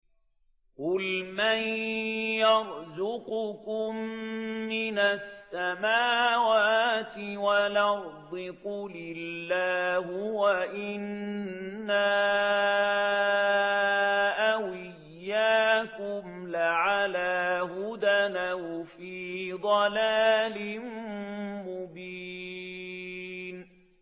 ۞ قُلْ مَن يَرْزُقُكُم مِّنَ السَّمَاوَاتِ وَالْأَرْضِ ۖ قُلِ اللَّهُ ۖ وَإِنَّا أَوْ إِيَّاكُمْ لَعَلَىٰ هُدًى أَوْ فِي ضَلَالٍ مُّبِينٍ